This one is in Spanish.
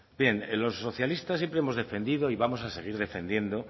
bien los socialistas siempre hemos defendido y vamos a seguir defendiendo